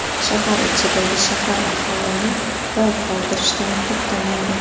Shahar ichidagi shahar aholini lol qoldirishdan to‘xtamaydi.